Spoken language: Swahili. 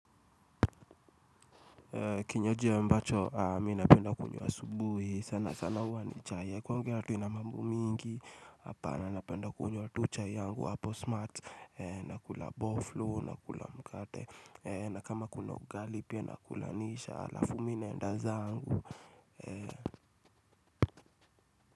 Kinywaji ambacho mimi napenda kukunywa asubuhi sana sana hua ni chai kwangu haina mambo mingi Hapana napenda kunywa tu chai yangu hapo smarts na kula boflo na kula mkate na kama kuna ugali pia nakula nisha alafu mimi naenda zangu.